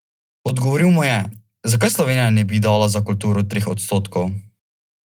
Odgovoril mu je: "Zakaj Slovenija ne bi dala za kulturo treh odstotkov?